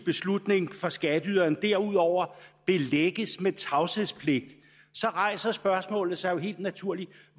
beslutning for skatteyderen derudover belægges med tavshedspligt rejser spørgsmålet sig jo helt naturligt